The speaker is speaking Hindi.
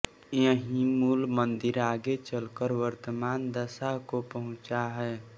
यही मूल मंदिर आगे चलकर वर्तमान दशा को पहुंचा है